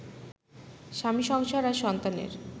স্বামী সংসার আর সন্তানের